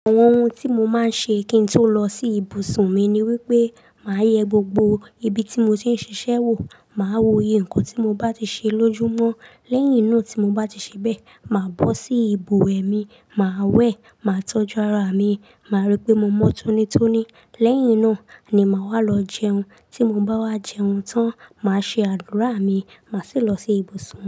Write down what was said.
Àwọn ohun tí mo máa ń ṣe kí n tó lọ sí ibùsùn mi ni wípé, màá yẹ gbogbo ibi tí mo ti ń ṣiṣẹ́ wò, màá woye ǹkan tí mo bá ti ṣe lójú mọ́. Lẹ́yìn náà tí mo bá ti ṣe bẹ́ẹ̀, màá bọ́ sí ìbùwe mi, màá wẹ̀, màá tọ́jú ara mi, màá rí pé mo mọ́ tónítóní. Lẹ́yìn náà ni màá wá lọ jẹun. Tí mo bá wá jẹun tán, màá ṣe àdúrà mi, màá sì lọ sí ibùsùn.